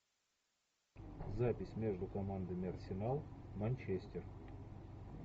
запись между командами арсенал манчестер